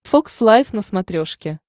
фокс лайф на смотрешке